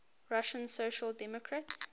russian social democratic